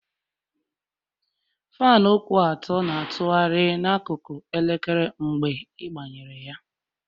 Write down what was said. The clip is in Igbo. Faanụ kwụ ọtọ na-atụgharị n'akụkụ elekere mgbe ịgbanyere ya